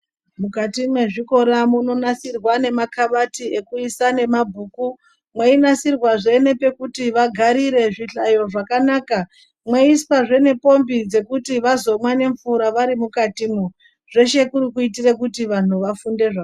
Mukati mwezvikora munonasirwa nemakabati ekuisa nemabhuku. Mweinasirwazve nepekuti vagarire, zvihlayo zvakanaka. Meiiswazve nepombi dzekuti vazomwa nemvura vari mukatomwo. Zveshe kuri kuitora kuti vantu vafunde zva...